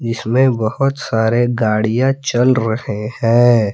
इसमें बहुत सारे गाड़ियां चल रहे हैं।